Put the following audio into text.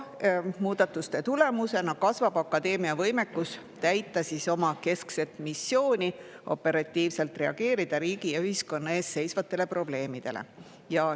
Muudatuste tulemusena kasvab akadeemia võimekus täita oma keskset missiooni operatiivselt reageerida riigi ja ühiskonna ees seisvatele probleemidele.